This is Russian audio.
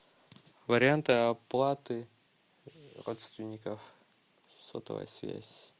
варианты оплаты родственников сотовая связь